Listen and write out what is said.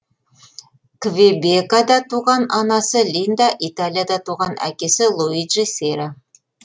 квебекада туған анасы линда италияда туған әкесі луиджи сера